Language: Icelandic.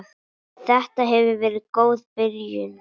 Þetta hefur verið góð byrjun.